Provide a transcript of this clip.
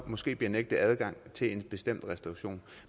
måske bliver nægtet adgang til en bestemt restauration